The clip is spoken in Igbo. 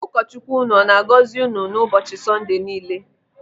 Ụkọ Chukwu ụnụ ọ na-agọzi unu n'ụbọchị Sọnde niile.